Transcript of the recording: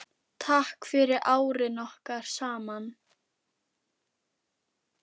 Takk fyrir árin okkar saman.